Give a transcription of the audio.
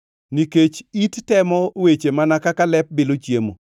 Nikech it temo weche mana kaka lep bilo chiemo.